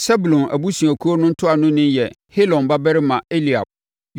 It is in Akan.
Sebulon abusuakuo no ntuanoni yɛ Helon babarima Eliab;